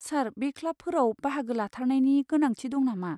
सार, बे क्लाबफोराव बाहागो लाथारनायनि गोनांथि दं नामा?